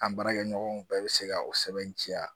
An baarakɛɲɔgɔnw bɛɛ bɛ se ka o sɛbɛntiya